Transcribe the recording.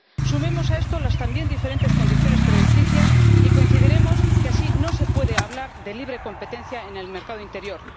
Sumemos a esto las también diferentes condiciones crediticias y coincidiremos en que así no se puede hablar de libre competencia en el mercado interior.